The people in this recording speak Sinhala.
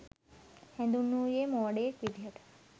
හැඳින්වුයේ මෝඩයෙක් විදිහට.